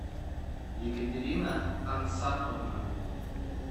екатерина ансафовна